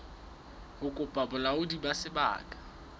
ho kopa bolaodi ba sebaka